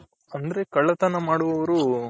ಅಂದ್ರೆ ಕಳ್ಳತನ ಮಾಡುವವರು